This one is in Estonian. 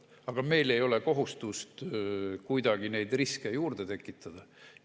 Aga meil ei ole kohustust kuidagi neid riske juurde tekitada.